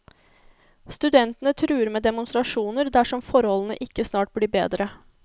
Studentene truer med demonstrasjoner dersom forholdene ikke snart blir bedre.